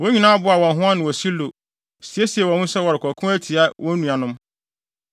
wɔn nyinaa boaa wɔn ho ano wɔ Silo, siesiee wɔn ho sɛ wɔrekɔko atia wɔn nuanom.